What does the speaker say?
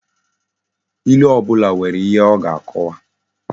Ilu obula nwere ihe o ga-akowa